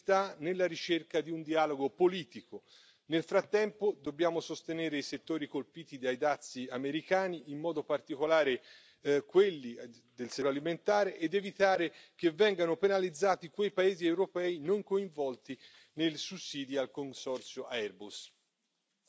La via da percorrere sta nella ricerca di un dialogo politico. Nel frattempo dobbiamo sostenere i settori colpiti dai dazi americani, in modo particolare quelli del settore agroalimentare, ed evitare che vengano penalizzati quei paesi europei non coinvolti nei sussidi al consorzio Airbus.